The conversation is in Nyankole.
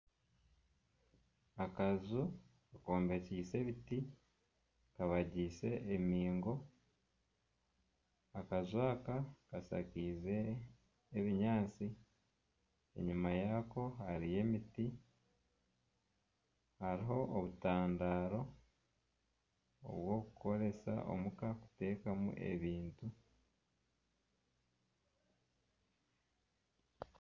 Akaju kombekise ebiti kabagiise embingo akaju aka kashakize ebinyantsi enyuma Yako hariyo emiti haruho obutandaro obwokukoresa omuka kutekaho ebintu .